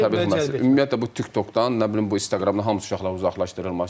Ümumiyyətlə bu TikTokdan, nə bilim bu İnstaqramdan hamısı uşaqların uzaqlaşdırılması.